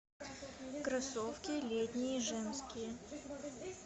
кроссовки летние женские